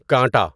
کانٹا